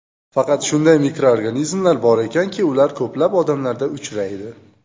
Faqat shunday mikroorganizmlar bor ekanki, ular ko‘plab odamlarda uchraydi.